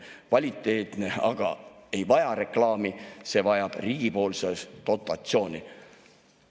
Kvaliteetne aga ei vaja reklaami, see vajab riigipoolset dotatsiooni.